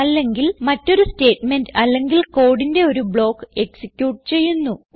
അല്ലെങ്കിൽ മറ്റൊരു സ്റ്റേറ്റ്മെന്റ് അല്ലെങ്കിൽ കോഡിന്റെ ഒരു ബ്ലോക്ക് എക്സിക്യൂട്ട് ചെയ്യുന്നു